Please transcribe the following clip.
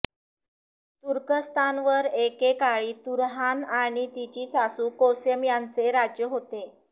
तुर्कस्तानवर एके काळी तुरहान आणि तिची सासू कोसेम यांचे राज्य होते